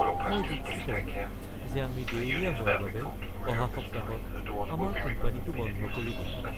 মই দুঃখিত যে আমি দেউলিয়া হোৱাৰ বাবে অহা সপ্তাহত আমাৰ কোম্পানীটো বন্ধ কৰি দিম।